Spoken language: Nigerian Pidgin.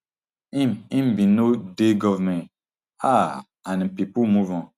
im im bin no dey goment um and pipo move on